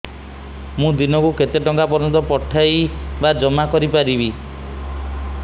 ମୁ ଦିନକୁ କେତେ ଟଙ୍କା ପର୍ଯ୍ୟନ୍ତ ପଠେଇ ବା ଜମା କରି ପାରିବି